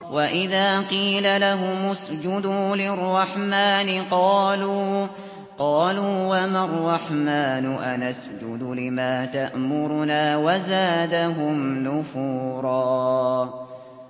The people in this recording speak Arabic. وَإِذَا قِيلَ لَهُمُ اسْجُدُوا لِلرَّحْمَٰنِ قَالُوا وَمَا الرَّحْمَٰنُ أَنَسْجُدُ لِمَا تَأْمُرُنَا وَزَادَهُمْ نُفُورًا ۩